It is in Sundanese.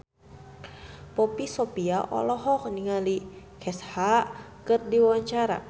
Poppy Sovia olohok ningali Kesha keur diwawancara